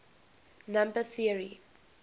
number theory